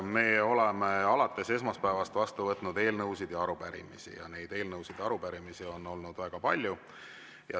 Me oleme alates esmaspäevast vastu võtnud eelnõusid ja arupärimisi ning neid eelnõusid ja arupärimisi on olnud väga palju.